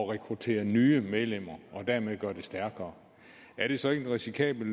rekruttere nye medlemmer og dermed gøre dem stærkere er det så ikke en risikabel